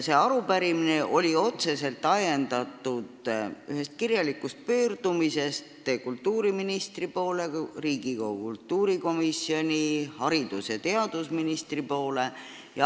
See arupärimine oli otseselt ajendatud ühest kirjalikust pöördumisest kultuuriministri, Riigikogu kultuurikomisjoni ning haridus- ja teadusministri poole.